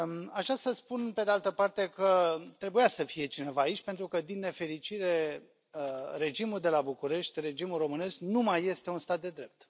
Aș vrea să spun, pe de altă parte, că trebuia să fie cineva aici pentru că, din nefericire, regimul de la București, regimul românesc, nu mai este un stat de drept.